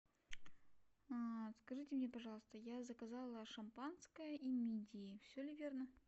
скажите мне пожалуйста я заказала шампанское и мидии все ли верно